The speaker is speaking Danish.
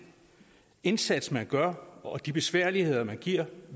indsats man gør og de besværligheder man giver